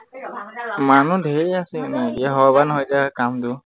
মানুহ ঢেৰ আছে এনেই হয় বা নহয় এতিয়া কামটো